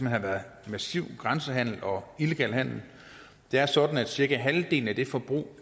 har været massiv grænsehandel og illegal handel det er sådan at cirka halvdelen af det forbrug af